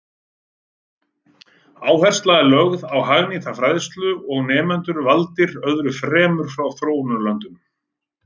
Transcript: Áhersla er lögð á hagnýta fræðslu og nemendur valdir öðru fremur frá þróunarlöndum.